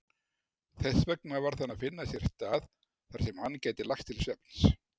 Þessvegna varð hann að finna sér stað þarsem hann gæti lagst til svefns.